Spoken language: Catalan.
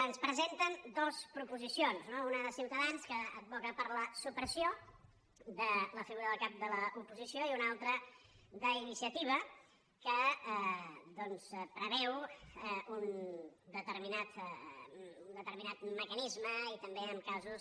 ens presenten dues proposicions no una de ciutadans que advoca per la supressió de la figura del cap de l’oposició i una altra d’iniciativa que doncs preveu un determinat mecanisme i també en casos